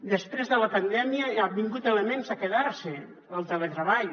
després de la pandèmia han vingut elements a quedar se el teletreball